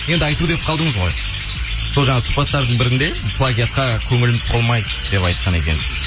енді айту деп қалдыңыз ғой сол жаңа сұхбаттардың бірінде плагиатқа көңілім толмайды деп айтқан екенсіз